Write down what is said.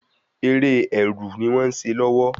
Eré ẹrù ni wón se lówó